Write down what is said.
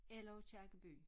Eller Aakirkeby